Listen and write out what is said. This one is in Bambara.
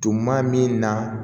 Tuma min na